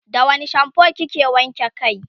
da wani shampoo kike wanke kai?